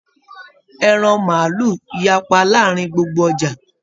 Ẹran maálù yapa láàrín gbogbo ọja.